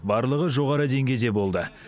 барлығы жоғары деңгейде болды